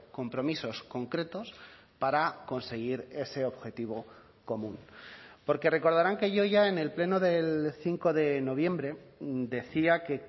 compromisos concretos para conseguir ese objetivo común porque recordarán que yo ya en el pleno del cinco de noviembre decía que